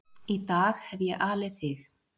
Í dag hef ég alið þig.